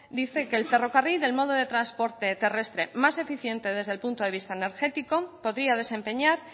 dice que el ferrocarril el modo de transporte terrestre más eficiente desde el punto de vista energético podría desempeñar